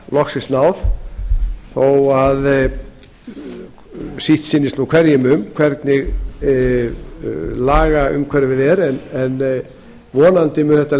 loksins náð þó að sitt sýnist nú hverjum um það hvernig lagaumhverfið er en vonandi mun þetta